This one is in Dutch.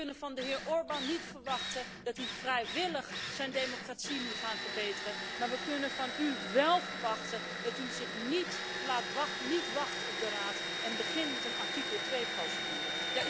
We kunnen van de heer Orban niet verwachten dat hij vrijwillig zijn democratie nu gaat verbeteren, maar we kunnen van u wel verwachten dat u niet wacht op de Raad en begint met een artikel 2 procedure.